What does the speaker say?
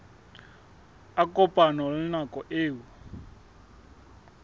a kopane le nako eo